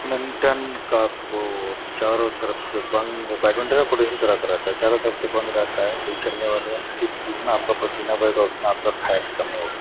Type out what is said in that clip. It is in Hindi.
मेंटेन का पोल चारो तरफ से बंद चारो तरफ से बंद रहता है जितना आपका पसीना बहेगा उतना आपका फैट कम होगा |